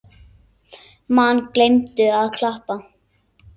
Menn gleymdu að klappa.